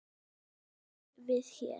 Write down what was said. á vel við hér.